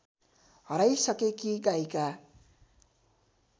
हराइसकेकी गायिका